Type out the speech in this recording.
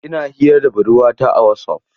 Ina hira da budurwata a Wasaf.